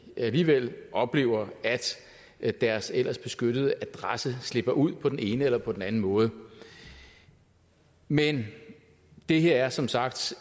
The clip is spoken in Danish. alligevel oplever at deres ellers beskyttede adresse slipper ud på den ene eller på den anden måde men det her er som sagt